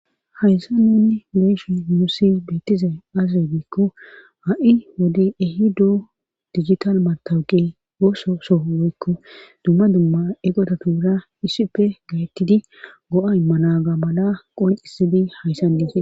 hayssa nunni lo7she nuussi bettize aazre biikko ha7i wodey ehi doo digital matawuqe ooso soho woykko dumma dumma eqota tuura issippe gaettidi go7a malaga mala qoncisidi hayssan diise